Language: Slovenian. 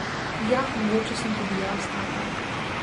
Ja, mogoče sem tudi jaz taka.